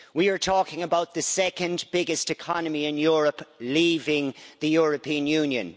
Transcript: we are talking about the second biggest economy in Europe leaving the European Union.